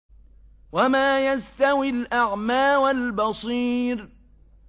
وَمَا يَسْتَوِي الْأَعْمَىٰ وَالْبَصِيرُ